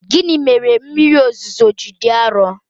Gịnị mere mmiri ozuzo ji dị arọ?